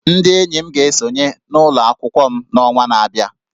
Ndị enyi m ga-esonye n'ụlọ akwụkwọ m n'ọnwa na-abịa